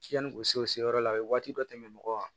Yanni u se u se yɔrɔ la u ye waati dɔ tɛmɛ mɔgɔw kan